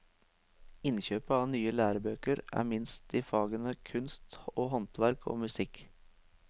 Innkjøpet av nye lærebøker er minst i fagene kunst og håndverk og musikk.